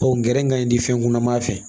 Ɔ n gɛrɛ kaɲi di fɛn kunaman fɛ